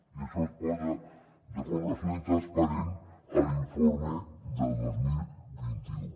i això es posa de forma absolutament transparent a l’informe del dos mil vint u